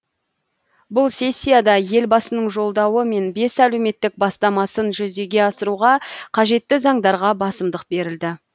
бұл сессияда елбасының жолдауы мен бес әлеуметтік бастамасын жүзеге асыруға қажетті заңдарға басымдық берілді